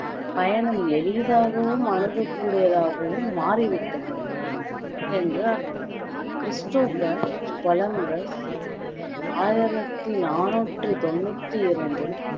பயணம் எளிதாகவும் அணுகக்கூடியதாகவும் மாறி விட்டது என்று அர்த்தம் கிறிஸ்டோபர் கொலம்பஸ் ஆயிரத்தி நாணூற்றி தொண்ணூத்தி இரண்டில்